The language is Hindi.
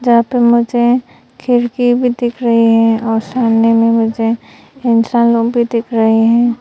यहां पे मुझे खिड़की भी दिख रही है और सामने में मुझे इंसान लोग भी दिख रहे हैं।